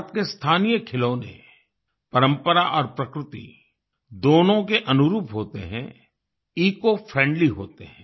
भारत के स्थानीय खिलौने परंपरा और प्रकृति दोनों के अनुरूप होते हैं इकोफ्रेंडली होते हैं